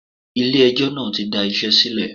Ilé ẹjọ́ náà tí da iṣẹ́ sílẹ̀.